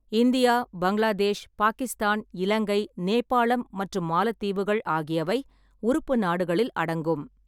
India, Bangladesh, Pakistan, Ilangai, Nepalam மற்றும் மாலத்தீவுகள் ஆகியவை உறுப்பு நாடுகளில் அடங்கும்.